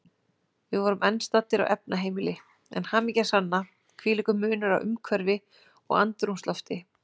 Við vorum enn staddir á efnaheimili, en hamingjan sanna, hvílíkur munur á umhverfi og andrúmslofti.